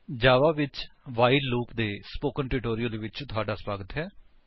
ਜਾਵਾ ਵਿੱਚ while loop ਦੇ spoken tutorial ਵਿੱਚ ਤੁਹਾਡਾ ਸਵਾਗਤ ਹੈ